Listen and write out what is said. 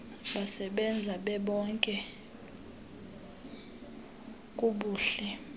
besebenza bebonke kubuhle